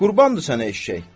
Qurbandır sənə eşşək.